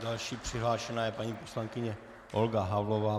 Další přihlášená je paní poslankyně Olga Havlová.